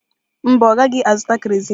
Mba, ọ gaghị azụta kerozin.